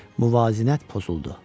Müvazinət pozuldu.